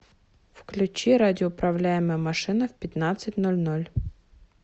включи радиоуправляемая машина в пятнадцать ноль ноль